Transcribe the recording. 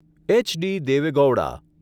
H.D.. Deve Gowda